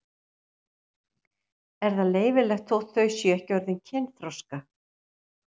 Er það leyfilegt þótt þau séu ekki orðin kynþroska?